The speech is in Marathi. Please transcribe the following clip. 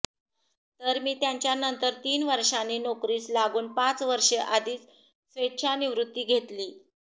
तर मी त्याच्यानंतर तीन वर्षानी नोकरीस लागून पाच वर्षे आधीच स्वेच्छानिवृत्ती घेतली